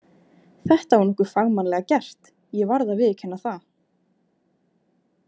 Þetta var nokkuð fagmannlega gert, ég varð að viðurkenna það.